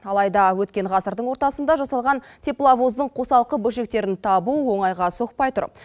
алайда өткен ғасырдың ортасында жасалған тепловоздың қосалқы бөлшектерін табу оңайға соқпай тұр